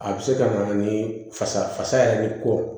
A bɛ se ka na ni fasa fasa yɛrɛ kɔ